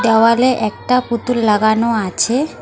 দেওয়ালে একটা পুতুল লাগানো আছে।